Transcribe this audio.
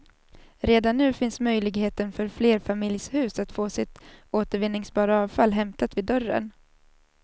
Redan nu finns möjligheten för flerfamiljshus att få sitt återvinningsbara avfall hämtat vid dörren.